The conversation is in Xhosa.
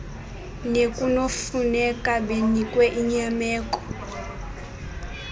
nekunokufuneka benikwe inyameko